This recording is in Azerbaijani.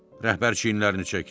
Rəhbər çiynlərini çəkdi.